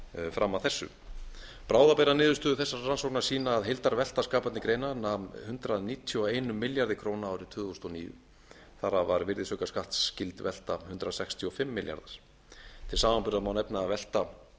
fram að þessu bráðabirgðaniðurstöður þessarar rannsóknar sýna að heildarvelta skapandi greina nam hundrað níutíu og einum milljarði króna árið tvö þúsund og níu þar af var virðisaukaskattsskyld velta hundrað sextíu og fimm milljarðar til samanburðar má nefna að